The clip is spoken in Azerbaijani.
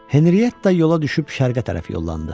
Henriyetta yola düşüb Şərqə tərəf yollandı.